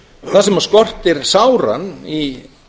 það sem skortir sáran í